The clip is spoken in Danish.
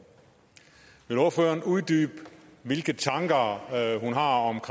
vil ordføreren uddybe hvilke tanker hun har om